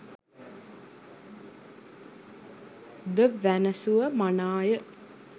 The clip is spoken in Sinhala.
ද වැනැසුව මනාය.